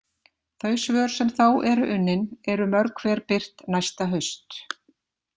Þau svör sem þá eru unnin eru mörg hver birt næsta haust.